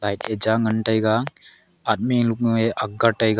cha ngan taiga admi luk e ak ngan taiga.